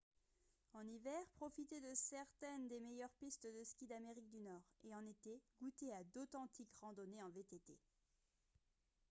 en hiver profitez de certaines des meilleurs pistes de skis d'amérique du nord et en été goûtez à d'authentiques randonnées en vtt